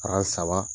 saba